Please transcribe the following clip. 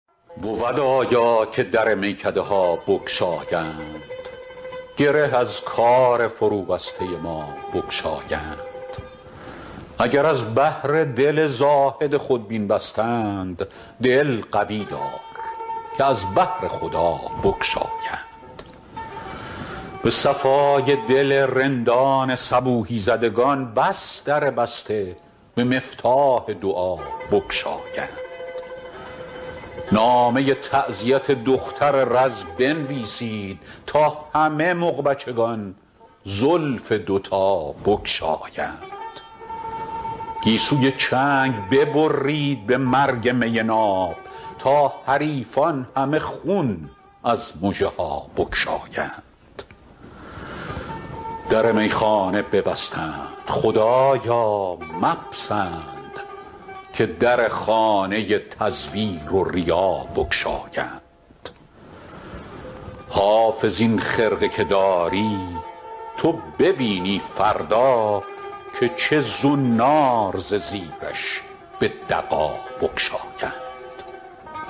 بود آیا که در میکده ها بگشایند گره از کار فروبسته ما بگشایند اگر از بهر دل زاهد خودبین بستند دل قوی دار که از بهر خدا بگشایند به صفای دل رندان صبوحی زدگان بس در بسته به مفتاح دعا بگشایند نامه تعزیت دختر رز بنویسید تا همه مغبچگان زلف دوتا بگشایند گیسوی چنگ ببرید به مرگ می ناب تا حریفان همه خون از مژه ها بگشایند در میخانه ببستند خدایا مپسند که در خانه تزویر و ریا بگشایند حافظ این خرقه که داری تو ببینی فردا که چه زنار ز زیرش به دغا بگشایند